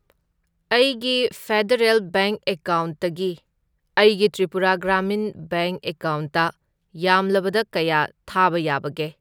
ꯑꯩꯒꯤ Federal Bank ꯑꯦꯀꯥꯎꯟꯠꯇꯒꯤ ꯑꯩꯒꯤ ꯇ꯭ꯔꯤꯄꯨꯔꯥ ꯒ꯭ꯔꯥꯃꯤꯟ ꯕꯦꯡꯛ ꯑꯦꯀꯥꯎꯟꯠꯇ ꯌꯥꯝꯂꯕꯗ ꯀꯌꯥ ꯊꯥꯕ ꯌꯥꯕꯒꯦ?